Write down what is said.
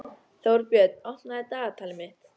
Þórbjörn, opnaðu dagatalið mitt.